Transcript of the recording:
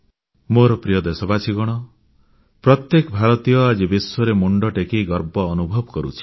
ମୋର ପ୍ରିୟ ଦେଶବାସୀଗଣ ପ୍ରତ୍ୟେକ ଭାରତୀୟ ଆଜି ବିଶ୍ୱରେ ମୁଣ୍ଡ ଟେକି ଗର୍ବ ଅନୁଭବ କରୁଛି